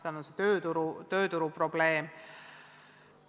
Seal on see tööturuprobleem.